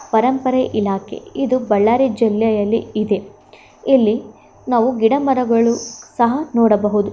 ಪರಂಪರೆ ಇಲಾಖೆ ಇದು ಬಳ್ಳಾರಿ ಜಿಲ್ಲೆಯಲ್ಲಿ ಇದೆ ಇಲ್ಲಿ ನಾವು ಗಿಡ ಮರಗಳು ಸಹ ನೋಡಬಹುದು.